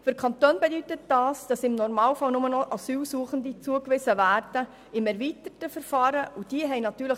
Für die Kantone bedeutet dies, dass im Normalfall nur noch Asylsuchende im erweiterten Verfahren zugewiesen werden.